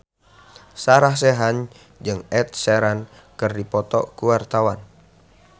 Sarah Sechan jeung Ed Sheeran keur dipoto ku wartawan